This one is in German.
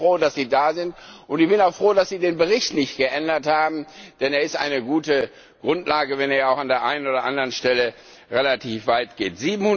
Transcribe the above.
Ich bin also froh, dass Sie da sind, und ich bin auch froh, dass Sie den Bericht nicht geändert haben, denn er ist eine gute Grundlage, auch wenn er an der einen oder anderen Stelle relativ weit geht.